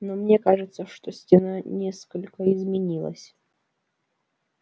но мне кажется что стена несколько изменилась